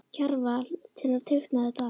Kjarval til að teikna þetta allt.